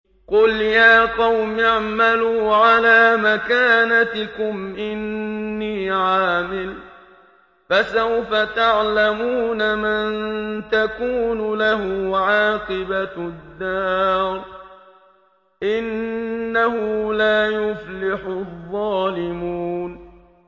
قُلْ يَا قَوْمِ اعْمَلُوا عَلَىٰ مَكَانَتِكُمْ إِنِّي عَامِلٌ ۖ فَسَوْفَ تَعْلَمُونَ مَن تَكُونُ لَهُ عَاقِبَةُ الدَّارِ ۗ إِنَّهُ لَا يُفْلِحُ الظَّالِمُونَ